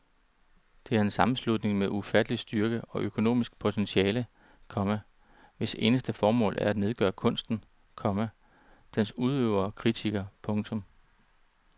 Det er en sammenslutning med en ufattelig styrke og økonomisk potentiale, komma hvis eneste formål er at nedgøre kunsten, komma dens udøvere og kritikere. punktum